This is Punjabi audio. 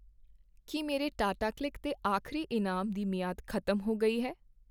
ਕੀ ਮੇਰੇ ਟਾਟਾਕਲਿੱਕ ਦੇ ਆਖ਼ਰੀ ਇਨਾਮ ਦੀ ਮਿਆਦ ਖ਼ਤਮ ਹੋ ਗਈ ਹੈ ?